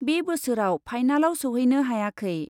बे बोसोराव फाइनालाव सौहैनो हायाखै ।